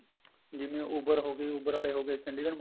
ਜਿਵੇਂ Uber ਹੋਗੀ Uber ਆਲੇ ਹੋਗੇ ਚੰਡੀਗੜ੍ਹ